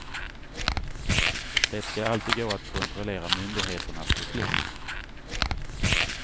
Det skall alltid gå att kontrollera myndigheternas beslut.